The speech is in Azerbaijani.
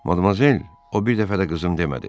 Madmazel, o bir dəfə də qızım demədi.